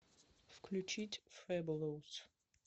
включить фэболоус